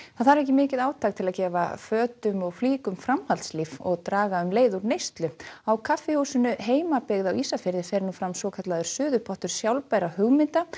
það þarf ekki mikið átak til að gefa fötum og flíkum framhaldslíf og draga um leið úr neyslu á kaffihúsinu heimabyggð á Ísafirði fer fram svokallaður suðupottur sjálfbærra hugmynda